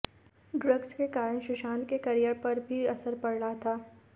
drugs के कारण सुशांत के करियर पर भी असर पड़ रहा था